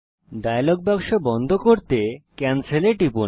dialogue বাক্স বন্ধ করতে ক্যানসেল এ টিপুন